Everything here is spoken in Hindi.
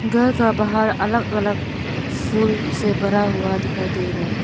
घर का बाहर अलग अलग फूल से भरा हुआ दिखाई दे रहा है।